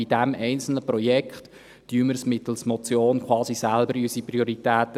– Bei diesem einzelnen Projekt setzen wir mittels Motion quasi unsere eigenen Prioritäten.